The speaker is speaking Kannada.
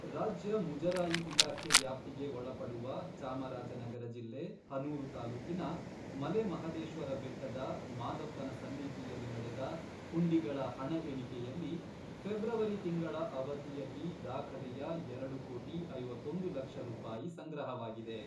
ರಾಜ್ಯ ಮುಜರಾಯಿ ಇಲಾಖೆ ವ್ಯಾಪ್ತಿಗೆ ಒಳಪಡುವ ಚಾಮರಾಜನಗರ ಜಿಲ್ಲೆ ಹನೂರು ತಾಲೂಕಿನ ಮಲೆಮಹದೇಶ್ವರಬೆಟ್ಟದ ಮಾದಪ್ಪನ ಸನ್ನಿಧಿಯಲ್ಲಿ ನಡೆದ ಹುಂಡಿಗಳ ಹಣ ಎಣಿಕೆಯಲ್ಲಿ, ಫೆಬ್ರವರಿ ತಿಂಗಳ ಅವಧಿಯಲ್ಲಿ ದಾಖಲೆಯ ಎರಡು ಕೋಟಿ ಐವತ್ತೊಂದು ಲಕ್ಷ ರೂಪಾಯಿ ಸಂಗ್ರಹವಾಗಿದೆ.